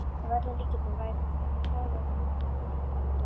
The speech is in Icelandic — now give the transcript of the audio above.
Að öllum líkindum væri það hagræðing